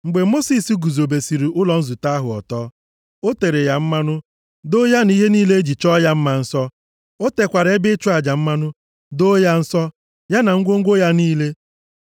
Mgbe Mosis guzobesiri ụlọ nzute ahụ ọtọ, o tere ya mmanụ. Doo ya na ihe niile e ji chọọ ya mma nsọ. O tekwara ebe ịchụ aja mmanụ, doo ya nsọ, ya na ngwongwo ya niile.